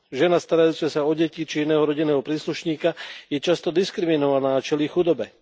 Žena starajúca sa o deti či iného rodinného príslušníka je často diskriminovaná a čelí chudobe.